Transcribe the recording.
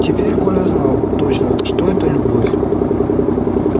теперь коля знал точно что это любовь